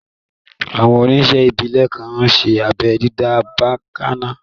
Àwọn oníṣe ìbílè kan n ṣé abẹ́ dídá bakanna